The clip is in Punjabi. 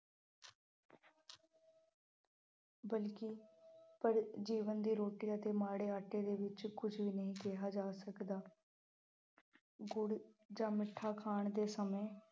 ਬਲਕਿ ਪਰ ਜੀਵਨ ਦੀ ਰੋਟੀ ਅਤੇ ਮਾੜੇ ਆਟੇ ਦੇ ਰੂਪ ਵਿੱਚ ਕੁੱਝ ਵੀ ਨਹੀਂ ਕਿਹਾ ਜਾ ਸਕਦਾ। ਗੁੜ੍ਹ ਜਾਂ ਮਿੱਠਾ ਖਾਣ ਦੇ ਸਮੇਂ